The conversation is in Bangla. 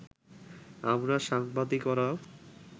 আমরা সাংবাদিকরাও